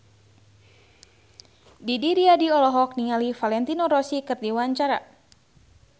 Didi Riyadi olohok ningali Valentino Rossi keur diwawancara